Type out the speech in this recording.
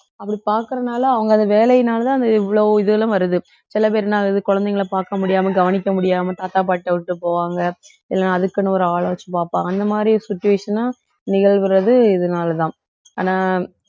அப்படி பாக்குறனால அவங்க அந்த வேலையினாலதான் அந்த இவ்வளவு இதுகளும் வருது சில பேர் என்ன ஆகுது குழந்தைகளை பார்க்க முடியாம கவனிக்க முடியாம தாத்தா பாட்டி கிட்ட விட்டு போவாங்க இல்லைன்னா அதுக்குன்னு ஒரு ஆள வெச்சு பாப்பாங்க அந்தமாதிரி situation ஆ நிகழ்கிறது இதனாலதான் ஆனா